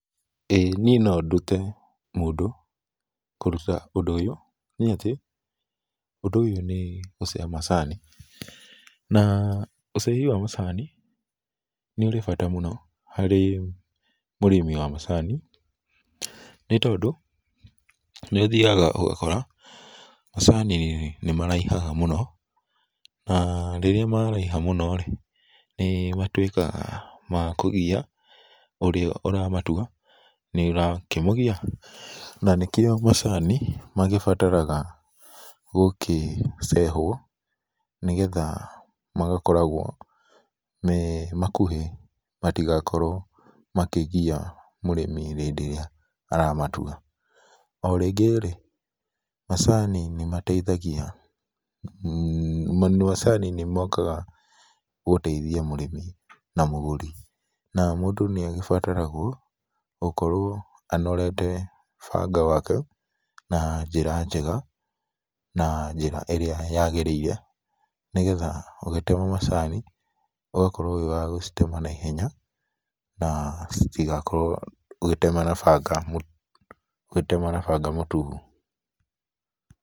Ĩĩ niĩ no ndute mũndũ kũruta ũndũ ũyũ nĩatĩ, ũndũ ũyũ nĩ gũceha macani. Na ũcehi wa macani, nĩũrĩ bata mũno harĩ mũrĩmi wa macani, nĩtondũ nĩũthiaga ũgakora macani nĩmaraihaga mũno, na rĩrĩa maraiha mũno-rĩ, nĩ matuĩkaga ma kũgia ũrĩa ũramatua, nĩ ũrakĩmũgia. Na nĩkĩo macani magĩbataraga gũkĩcehwo nĩgetha magakoragwo me makuhĩ matigakorwo makĩgia mũrĩmi hĩndĩ ĩrĩa aramatua. O rĩngĩ-rĩ, macani nĩmateithagia, macani nĩ mokaga gũteithia mũrĩmi na mũgũri. Na mũndũ nĩagĩbataragwo gũkorwo anorete banga wake na njĩra njega, na njĩra ĩrĩa yagĩrĩire, nĩgetha ũgĩtema macani, ũgakorwo wĩ wa gũtema na ihenya na citigakorwo ũgĩtema na banga, ũgĩtema na banga mũtuhu.